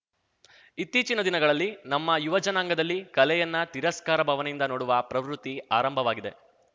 ಇತ್ತೀಚಿನ ದಿನಗಳಲ್ಲಿ ನಮ್ಮ ಯುವಜನಾಂಗದಲ್ಲಿ ಕಲೆಯನ್ನ ತಿರಸ್ಕಾರ ಭಾವನೆಯಿಂದ ನೋಡುವ ಪ್ರವೃತ್ತಿ ಆರಂಭವಾಗಿದೆ